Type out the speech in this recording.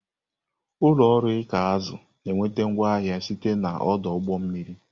Ụlọ ọrụ ịkụ azụ na-enweta ngwa ahịa site na ọdụ ụgbọ mmiri.